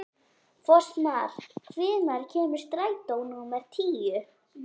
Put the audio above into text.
Fossmar, hvenær kemur strætó númer tíu?